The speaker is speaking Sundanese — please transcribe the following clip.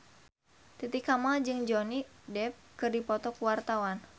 Titi Kamal jeung Johnny Depp keur dipoto ku wartawan